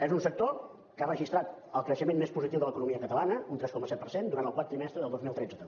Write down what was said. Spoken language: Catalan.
és un sector que ha registrat el creixement més positiu de l’economia catalana un tres coma set per cent durant el quart trimestre del dos mil tretze també